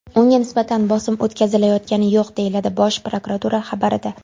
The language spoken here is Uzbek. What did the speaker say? Unga nisbatan bosim o‘tkazilayotgani yo‘q”, deyiladi Bosh prokuratura xabarida.